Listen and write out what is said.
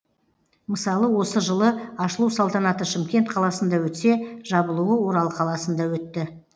мысалы осы жылы ашылу салтанаты шымкент қаласында өтсе жабылуы орал қаласында өтті